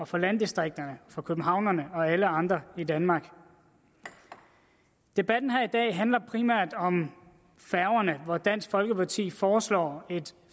for landdistrikterne for københavnerne og for alle andre i danmark debatten her i dag handler primært om færgerne dansk folkeparti foreslår et